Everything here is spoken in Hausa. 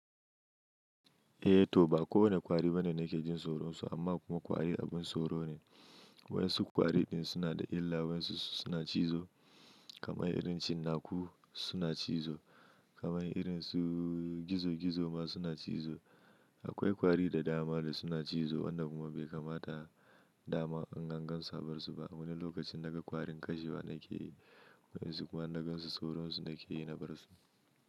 Eh to ba kowane kwari bane da ke jin soron su amma kuma kwari abin soro ne. Wai su kwari din suna da illa wa su suna cizo kamar irin cinnaku suna cizo kamar irin su gizo gizo ma suna cizo. Akwai kwari da dama da suna cizo wanda kuma bai kamata dama an gan gan sabar su ba. A wani lokacin naga kwarin kashewa nake yi wai su kuma na gan su soron su nake yi na bar su.